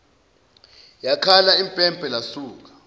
yakhala impempe lasuka